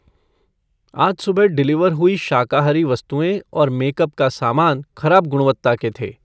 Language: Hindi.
आज सुबह डिलीवर हुए शाकाहारी वस्तुएँ और मेकअप का सामान खराब गुणवत्ता के थें।